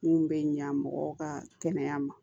Mun bɛ ɲa mɔgɔw ka kɛnɛya ma